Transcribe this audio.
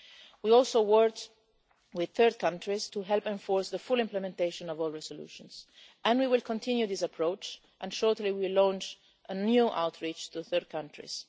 We also worked with third countries to help enforce the full implementation of all resolutions and we will continue this approach and shortly will launch a new outreach to third countries.